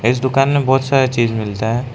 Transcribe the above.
इस दुकान में बहोत सारा चीज़ मिलता है।